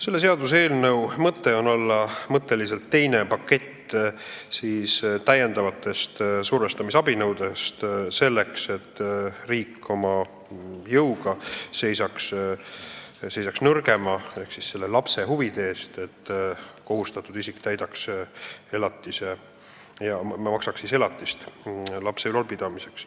See seaduseelnõu on mõtteliselt teine täiendavate survestamisabinõude pakett, selleks et riik seisaks oma jõuga nõrgema ehk lapse huvide eest, et kohustatud isik maksaks elatist lapse ülalpidamiseks.